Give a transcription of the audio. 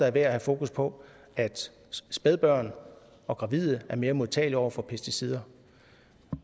er værd at have fokus på at spædbørn og gravide er mere modtagelige over for pesticider